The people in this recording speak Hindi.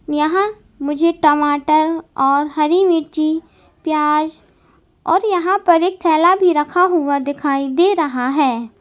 यहां मुझे टमाटर और हरी मिर्ची प्याज और यहां पर एक थैला भी रखा दिखाई दे रहा है।